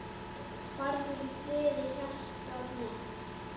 Farðu í friði hjartað mitt.